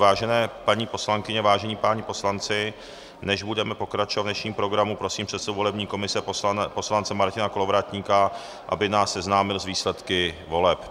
Vážené paní poslankyně, vážení páni poslanci, než budeme pokračovat v dnešním programu, prosím předsedu volební komise poslance Martina Kolovratníka, aby nás seznámil s výsledky voleb.